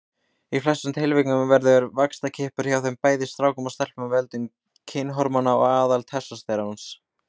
Í flestum tilvikum verður vaxtarkippur hjá bæði strákum og stelpum af völdum kynhormóna, aðallega testósteróns.